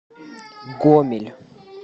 гомель